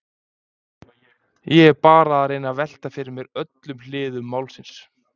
Ég er bara að reyna að velta fyrir mér öllum hliðum málsins.